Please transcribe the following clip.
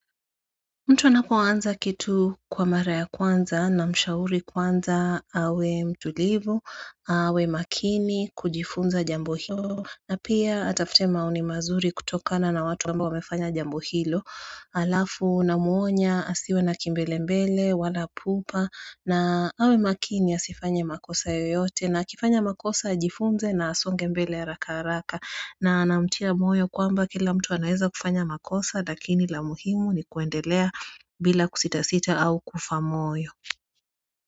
Mtu anapuwanza kitu kwa mara ya kwanza na mshauri kwanza awe mtulivu, awe makini kujifunza jambo hilo na pia atafute maoni mazuri kutokana na watu amba wamefanya jambo hilo Alafu na muonya asiwe na kimbele mbele, wala pupa na awe makini asifanye makosa yoyote na kifanya makosa ajifunze na asonge mbele ya haraka haraka na anamtia moyo kwamba kila mtu anaeza kufanya makosa Dakini la muhimu ni kuendelea bila kusita sita au kufa moyo.